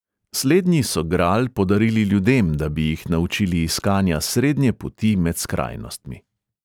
Slednji so gral podarili ljudem, da bi jih naučili iskanja srednje poti med skrajnostmi.